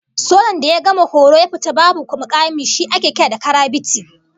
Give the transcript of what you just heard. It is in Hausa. Sojan da ya gama horo ya fito babu mukami shi ake kira karabiti